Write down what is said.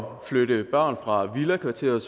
at flytte børn fra villakvarteret